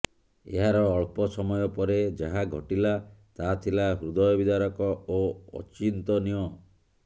ଏହାର ଅଳ୍ପ ସମୟ ପରେ ଯାହା ଘଟିଲା ତାହା ଥିଲା ହୃଦୟ ବିଦାରକ ଓ ଅଚିନ୍ତନୀୟ